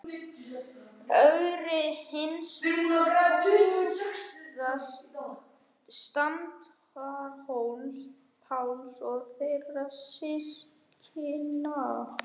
Ögri hins prúða, Staðarhóls-Páls og þeirra systkina.